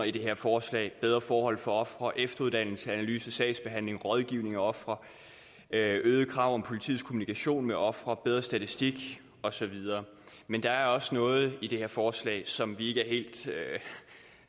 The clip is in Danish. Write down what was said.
i det her forslag bedre forhold for ofre efteruddannelse analyse af sagsbehandling rådgivning af ofre øgede krav om politiets kommunikation med ofre bedre statistik osv men der er også noget i det her forslag som vi ikke